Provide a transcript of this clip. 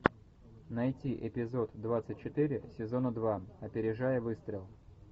найти эпизод двадцать четыре сезона два опережая выстрел